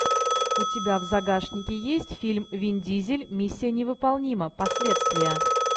у тебя в загашнике есть фильм вин дизель миссия невыполнима последствия